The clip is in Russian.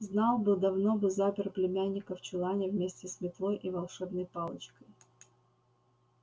знал бы давно бы запер племянника в чулане вместе с метлой и волшебной палочкой